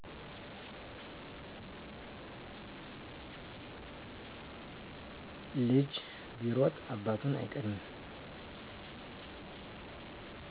ልጅ ቢሮጥ አባቱን አይቀድምም